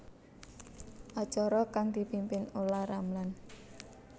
Acara kang dipimpin Olla Ramlan